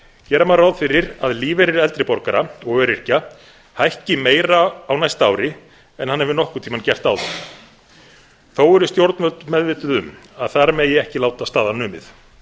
gera má ráð fyrir að lífeyrir eldri borgara og öryrkja hækki meira á næsta ári en hann hefur nokkurn tímann gert áður þó eru stjórnvöld meðvituð um að þar megi ekki láta staðar numið